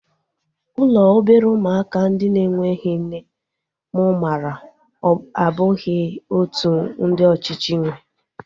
Ụlọ obere ụmụaka ndị na-enweghị nne mụ maara abụghị otú ndị ọchịchị nwee